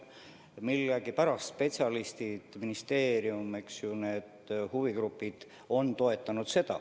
Millegipärast spetsialistid, ministeerium, ka huvigrupid on seda toetanud.